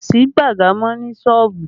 Kò sí baga mọ ní sọ́ọ̀bù